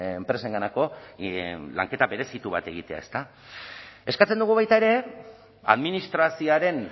enpresenganako lanketa berezitu bat egitea ezta eskatzen dugu baita ere administrazioaren